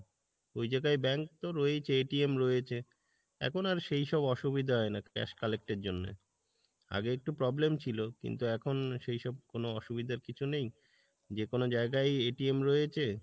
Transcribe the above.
ওই জায়গাই bank তো রয়েছে রয়েছে এখন আর সেই সব অসুবিধা হয়না cash collect এর জন্যে, আগে একটু problem ছিলো কিন্তু এখন সেই সব কোনো অসুবিধার কিছু নেই, যেকোনো জায়গাই রয়েছে